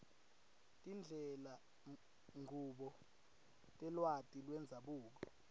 tindlelanchubo telwati lwendzabuko